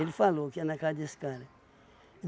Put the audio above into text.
Ele falou que ia na casa desse cara.